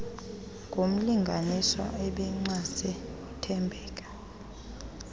ngumlinganiswa obencwase uthembeka